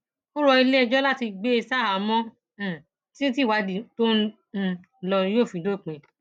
ó rọ iléẹjọ láti gbé e ṣaháàmọ um títí tí ìwádìí tó ń um lọ yóò fi dópin